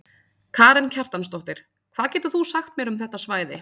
Karen Kjartansdóttir: Hvað getur þú sagt mér um þetta svæði?